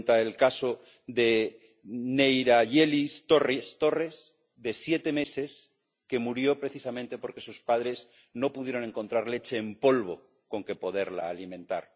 Cuenta el caso de Nerianyelis Torres, de siete meses, que murió precisamente porque sus padres no pudieron encontrar leche en polvo con que poderla alimentar.